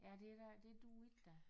Ja det er da det duer ikke da